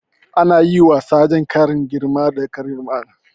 Ana yi wa sajan ƙarin girma da ƙaddamarwa